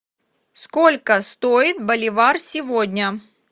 сколько стоит боливар сегодня